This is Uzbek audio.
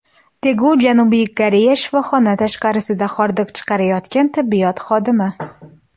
Tegu, Janubiy Koreya Shifoxona tashqarisida hordiq chiqarayotgan tibbiyot xodimi.